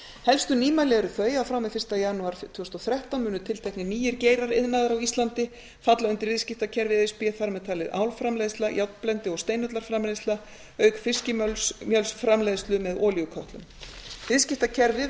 helstu nýmæli eru þau að fram til fyrsta janúar tvö þúsund og þrettán munu tilteknir nýir geirar iðnaðar á íslandi falla undir viðskiptakerfi e s b þar með talið álframleiðsla járnblendi og steinullarframleiðsla auk fiskimjölsframleiðslu með olíukötlum viðskiptakerfið